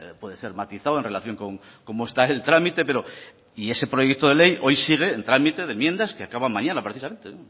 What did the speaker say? puede ser matizado en relación de cómo está el trámite pero y ese proyecto de ley hoy sigue en trámite de enmiendas que acaba mañana precisamente